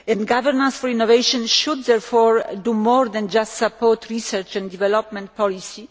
Governance for innovation should therefore do more than just support research and development policy.